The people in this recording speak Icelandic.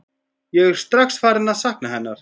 Ég er strax farinn að sakna hennar.